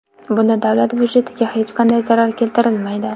Bunda davlat budjetiga hech qanday zarar keltirilmaydi.